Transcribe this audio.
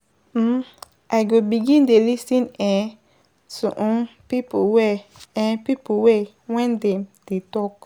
um I go begin dey lis ten um to um pipo well um pipo well wen dem dey talk.